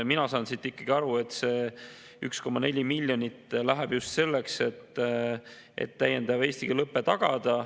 Mina saan siit ikkagi aru, et see 1,4 miljonit läheb just selleks, et täiendav eesti keele õpe tagada.